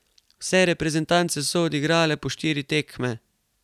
Vse reprezentance so odigrale po štiri tekme.